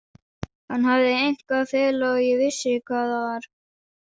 Hann hafði eitthvað að fela og ég vissi hvað það var.